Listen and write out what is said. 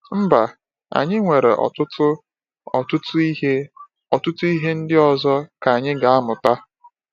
Mba, anyị nwere ọtụtụ, ọtụtụ ihe ọtụtụ ihe ndị ọzọ ka anyị ga-amụta.